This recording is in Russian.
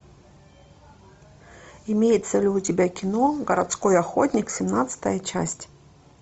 имеется ли у тебя кино городской охотник семнадцатая часть